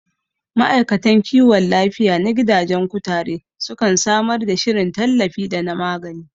Ma'aikatan kiwon lafiya na gidajen kutare sukan samar da shirin tallafi da na magani